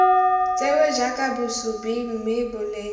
tsewe jaaka bosupi mme boleng